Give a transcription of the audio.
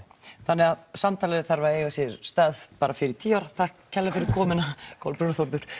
þannig að samtalið þarf að eiga sér stað fyrir tíu ára takk kærlega fyrir komuna Kolbrún og